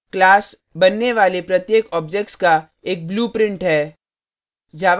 class बनने वाले प्रत्येक objects का एक blueprint है